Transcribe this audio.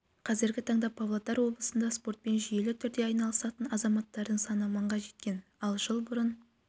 қазіргі таңда павлодар облысында спортпен жүйелі түрде айналысатын азаматтардың саны мыңға жеткен ал жыл бұрын